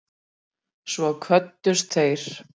Svo kvöddust þeir.